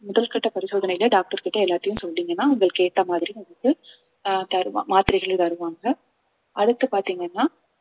முதல்கட்ட பரிசோதனையில doctor கிட்ட எல்லாத்தையும் சொன்னீங்கன்னா உங்களுக்கு ஏத்த மாதிரி வந்து ஆஹ் தருவா~ மாத்திரைகள் தருவாங்க அடுத்து பார்த்தீங்கன்னா